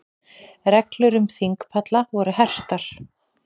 Reglur um þingpalla voru hertar